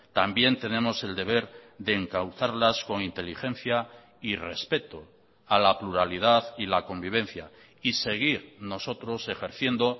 también tenemos el deber de encauzarlas con inteligencia y respeto a la pluralidad y la convivencia y seguir nosotros ejerciendo